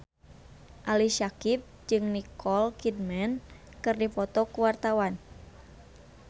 Ali Syakieb jeung Nicole Kidman keur dipoto ku wartawan